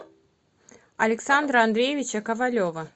александра андреевича ковалева